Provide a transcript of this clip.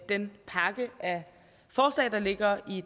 den pakke af forslag der ligger i